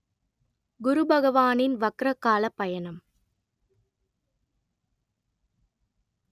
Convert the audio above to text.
குருபகவானின் வக்ர கால பயணம்